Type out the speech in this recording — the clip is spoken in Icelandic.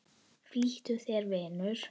Flýttu þér, vinur.